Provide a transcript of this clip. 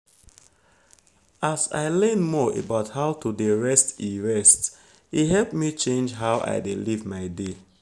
as i learn more about how to dey rest e rest e help me change how i dey live my day.